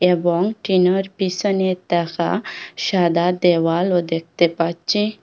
এবং টিনের পিসনে থাকা সাদা দেওয়াল ও দেখতে পাচ্ছি।